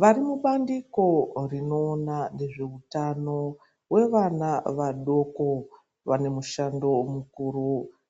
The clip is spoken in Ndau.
Vari mubandiko rinoona ngezveutano wevana vadoko vane mushando mukuru